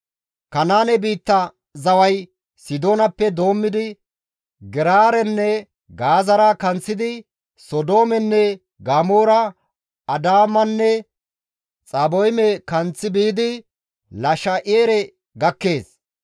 Kanaane biitta zaway Sidoonappe doommidi Geraarenne Gaazara kanththidi, Sodoomenne Gamoora, Adaamanne Xaboyme kanththi biidi Lasha7ere gakkees.